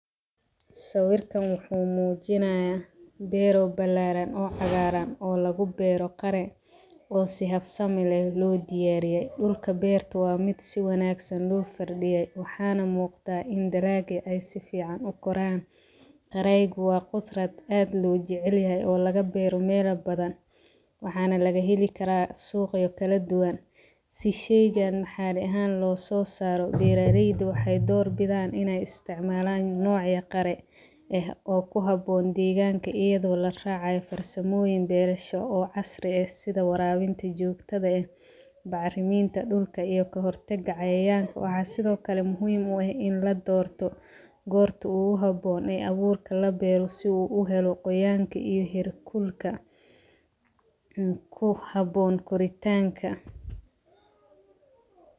Sawirkan waxuu muujinaya beero balaaran oo cagaaran oo lagu beero qaro oo si habsama leh loo diyaariye dhulka beerta waa mid si wanagsan loo fardhiye waxaana muuqata in daraaga ay si fican qoraan. Dareyga waa qudrad aad loo jecelyahay oo laga beera meela badan waxaana lagaheli kara suuqa oo kaladuban si shaygan naxaali ahan loososaro beeraleyda waxay dorbidan ina ay isticmaalan nocya qare eh oo ku haboon deeganka iyado laraacayo farsamooyin beerasho oo casri eh sida waraabinta jogtada eh bacrimeynta dhulka iyo kahortaga cayayanka waxaa sidokale muhiim u eh in ladorto gorta ogu haboon ee abuurka labeero si u helo qoyaanka iyo heerkulka ku haboon korintanka.